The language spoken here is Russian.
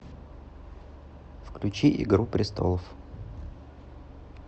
включи игру престолов